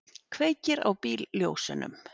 Kveikir á bílljósunum.